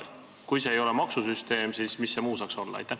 Kui põhjus ei ole maksusüsteem, siis mis muu see saaks olla?